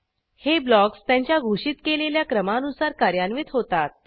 हे ब्लॉक्स त्यांच्या घोषित केलेल्या क्रमानुसार कार्यान्वित होतात